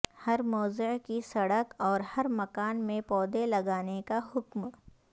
ہر موضع کی سڑک اور ہر مکان میں پودے لگانے کا حکم